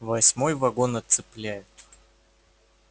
восьмой вагон отцепляют